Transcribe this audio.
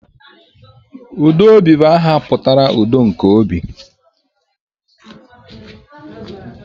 Udobi bụ aha pụtara 'udo nke obi'